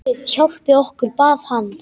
Guð hjálpi okkur, bað hann.